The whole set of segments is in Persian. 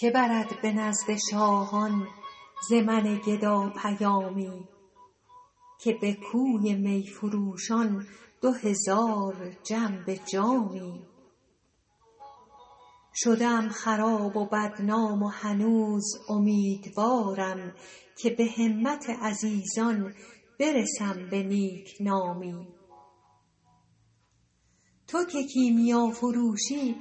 که برد به نزد شاهان ز من گدا پیامی که به کوی می فروشان دو هزار جم به جامی شده ام خراب و بدنام و هنوز امیدوارم که به همت عزیزان برسم به نیک نامی تو که کیمیافروشی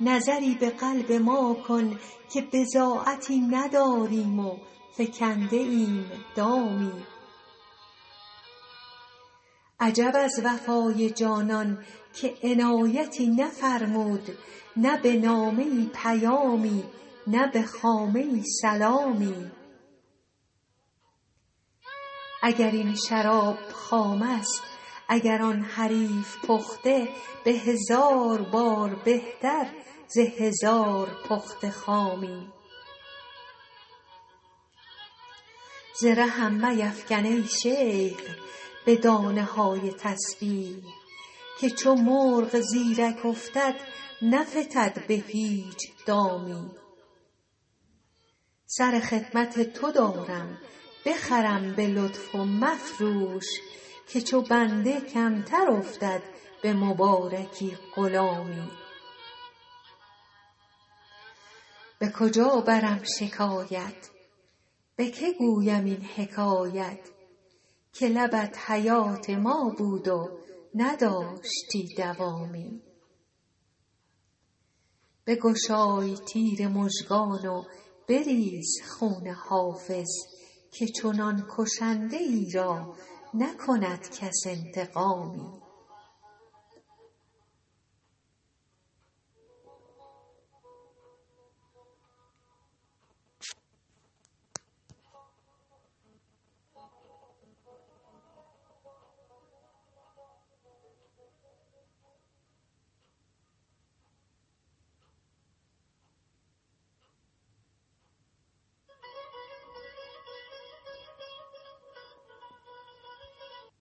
نظری به قلب ما کن که بضاعتی نداریم و فکنده ایم دامی عجب از وفای جانان که عنایتی نفرمود نه به نامه ای پیامی نه به خامه ای سلامی اگر این شراب خام است اگر آن حریف پخته به هزار بار بهتر ز هزار پخته خامی ز رهم میفکن ای شیخ به دانه های تسبیح که چو مرغ زیرک افتد نفتد به هیچ دامی سر خدمت تو دارم بخرم به لطف و مفروش که چو بنده کمتر افتد به مبارکی غلامی به کجا برم شکایت به که گویم این حکایت که لبت حیات ما بود و نداشتی دوامی بگشای تیر مژگان و بریز خون حافظ که چنان کشنده ای را نکند کس انتقامی